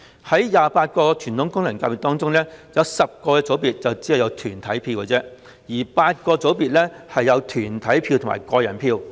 在28個傳統功能界別中 ，10 個組別只有團體票 ，8 個組別則有團體票和個人票。